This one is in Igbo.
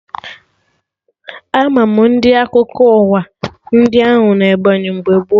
Ama ndị Akwụkwọ akụkọ ụwa ndị Anwụ na Ebọnyị mgbe gboo